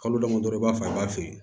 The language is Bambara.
Kalo damadɔ i b'a f'a ye i b'a feere